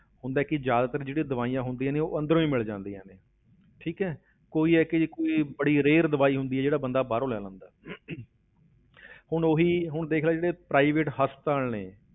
ਹੁੰਦਾ ਕੀ ਜ਼ਿਆਦਾਤਰ ਜਿਹੜੀਆਂ ਦਵਾਈਆਂ ਹੁੰਦੀਆਂ ਨੇ, ਉਹ ਅੰਦਰੋਂ ਹੀ ਮਿਲ ਜਾਂਦੀਆਂ ਨੇ ਠੀਕ ਹੈ ਕੋਈ ਇੱਕ ਅਜਿਹੀ ਕੋਈ ਬੜੀ rare ਦਵਾਈ ਹੁੰਦੀ ਹੈ ਜਿਹੜਾ ਬੰਦਾ ਬਾਹਰੋਂ ਲੈ ਲੈਂਦਾ ਹੈ ਹੁਣ ਉਹੀ ਹੁਣ ਦੇਖ ਲਾ ਜਿਹੜੇ private ਹਸਪਤਾਲ ਨੇ